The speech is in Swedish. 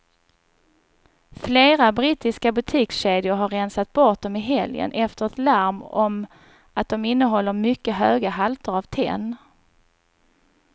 Flera brittiska butikskedjor har rensat bort dem i helgen efter ett larm om att de innehåller mycket höga halter av tenn.